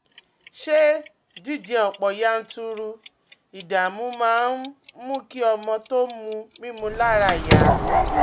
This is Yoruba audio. um Ṣé jíjẹ ọ̀pọ̀ yanturu ìdààmú máa ń um mú kí ọmọ tó ń mu mímu lára yá?